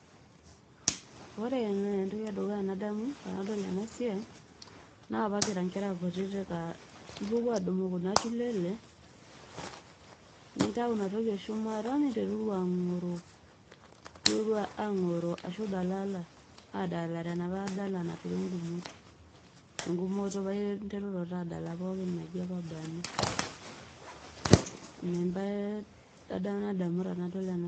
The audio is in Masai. ore entoki edukuya nadamu tenadol ena siai naa apa kira ikera kutitik aa ipuopuo adumu kuna tulele nintau ina toki eshumata ninteruru angoroo ashu idalala ena dala nangori ingumot engumoto paa interuru taa pooki . ina embae nadamu tenadol ena.